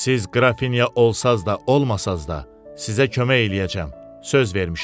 Siz Qrafinya olsaz da, olmasaz da, sizə kömək eləyəcəm, söz vermişəm.